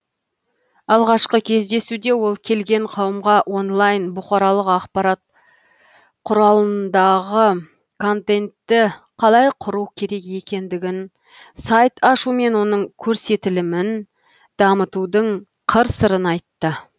алғашқы кездесуде ол келген қауымға онлайн бұқаралық ақпарат құралымдағы контентті қалай құру керек екендігін сайт ашу мен оның көрсетілімін дамытудың қыр сырын айтты